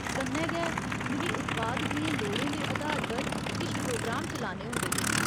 कन्नै गै, मिगी उत्पाद दियें लोड़ें दे अधार पर किश प्रोग्राम चलाने होंदे हे।